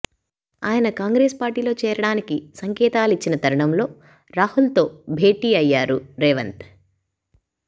ఆయన కాంగ్రెస్ పార్టీలో చేరడానికి సంకేతాలిచ్చిన తరుణంలో రాహుల్ తో భేటీ అయ్యారు రేవంత్